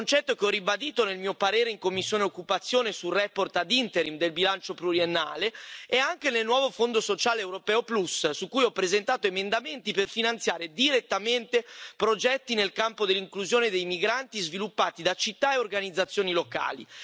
Concetto che ho ribadito nel mio parere in commissione occupazione sulla relazione ad interim del bilancio pluriennale e anche nel nuovo Fondo sociale europeo Plus su cui ho presentato emendamenti per finanziare direttamente progetti nel campo dell'inclusione dei migranti, sviluppati da città e organizzazioni locali.